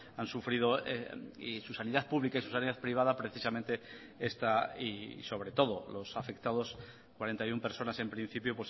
han sufrido y su sanidad pública y su sanidad privada precisamente y sobre todo los afectados cuarenta y uno personas en principio